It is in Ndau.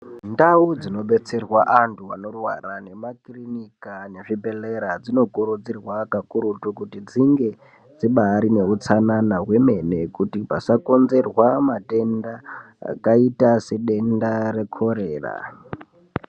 Ndau dzinobetserwa antu anorwara nemumakirinika nezvibhedhlera dzinokurudzirwa kakurutu kuti dzinge dzibari neutsanana hwemene kuti pasakonzerwa matenda akaita sedenda rekhorera.